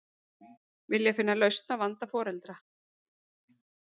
Vilja finna lausn á vanda foreldra